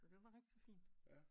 Så det var rigtig fint